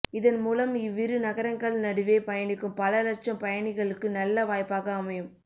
இதன் மூலம் இவ்விரு நகரங்கள் நடுவே பயணிக்கும் பல லட்சம் பயணிகளுக்கு நல்ல வாய்ப்பாக அமையும்